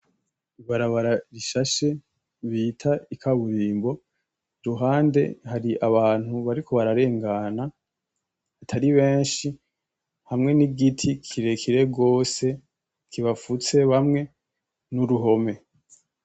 Ibarabara rishashe, bita ikaburimbo ,iruhande hari abantu bariko bararengana atari benshi hamwe n'igiti kirerekire gose kibafutse bamwe n'uruhome.